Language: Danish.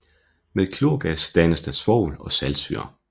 Med klorgas dannes der svovl og saltsyre